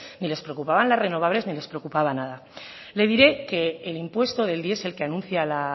ni les preocupaba las renovables ni les preocupaba nada le diré que el impuesto del diesel que anuncia la